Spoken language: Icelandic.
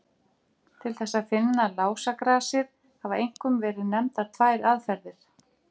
Til þess að finna lásagrasið hafa einkum verið nefndar tvær aðferðir.